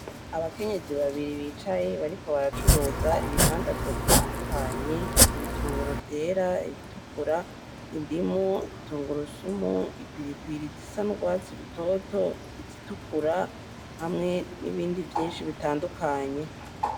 Abakenyezi babiri bicaye bariko baracuruza ibi ndadazwa bitandukanye, ibitunguru vyera ibitukura, indimu intugurusumu, ipiripiri zisa n'urwatsi rutoto izitukura hamwe n'ibindi vyinshi bitandukanye.